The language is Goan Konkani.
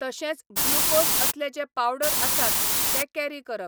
तशेंच ग्लुकोज असले जे पावडर आसात, ते कॅरी करप.